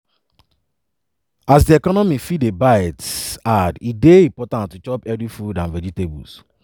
as economy fit dey bite hard e dey important to chop healthy food and vegetables.